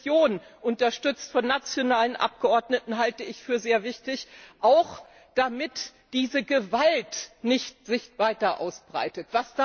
Diese Mission unterstützt von nationalen Abgeordneten halte ich für sehr wichtig, auch damit die Gewalt sich nicht weiter ausbreitet.